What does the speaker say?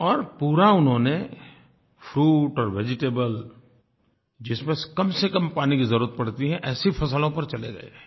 और पूरा उन्होंने फ्रूट और वेजिटेबल जिसमें कमसेकम पानी की ज़रूरत पड़ती है ऐसी फसलों पर चले गए